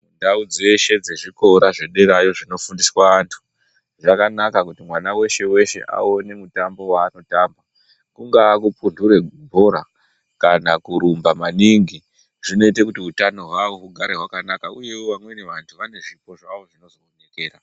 Ndau dzeshe dzezvikora zvederayo dzinofundiswa antu, dzakanaka kuti mwana weshe weshe awone mutambo waanotamba. Kungaa kupunhure bhora kana kurumba maningi, zvinoite kuti utano hwavo hugare hwakanaka .Uyewo ,vamweni vantu vane zvipo zvavo zvinozobudikira.